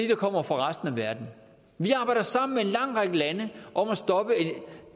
der kommer fra resten af verden vi arbejder sammen med en lang række lande om at stoppe